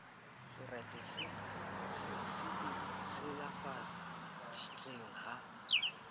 seretse se e silafaditseng ha